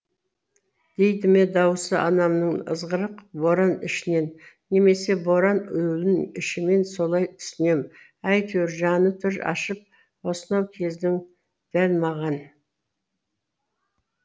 дейді ме дауысы анамның ызғырық боран ішінен немесе боран уілін ішімнен солай түсінем әйтеуір жаны тұр ашып осынау кездің дәл маған